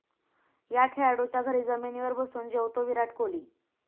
या' खेळाडूच्या घरी जमिनीवर बसून जेवतो विराट कोहली